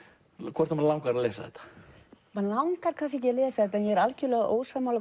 hvort að mann langar að lesa þetta mann langar kannski ekki að lesa þetta en ég er algjörlega ósammála